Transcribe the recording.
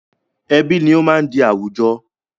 Ẹbí ni ó máa ń di àwùjọ